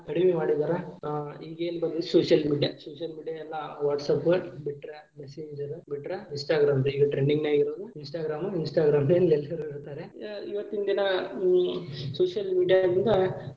ಕಡಿಮಿ ಮಾಡಿದಾರಾ ಆ ಈಗೇನ ಬರಿ social media, social media ಎಲ್ಲಾ WhatsApp ಬಿಟ್ರ Messenger ಬಿಟ್ರ Instagram ರೀ ಈಗ trending ನಾಗ ಇರುದು Instagram ಎಲ್ಲರು ನೋಡ್ತಾರೆ ಇವತ್ತಿನ ದಿನಾ social media ದಿಂದ.